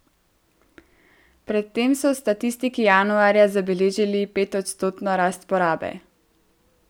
Pred tem so statistiki januarja zabeležili petodstotno rast porabe.